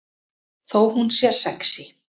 Þó hún sé sexí.